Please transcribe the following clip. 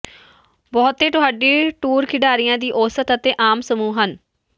ਬਹੁਤੇ ਤੁਹਾਡੀ ਟੂਰ ਖਿਡਾਰੀਆਂ ਦੀ ਔਸਤ ਅਤੇ ਆਮ ਸਮੂਹ ਹਨ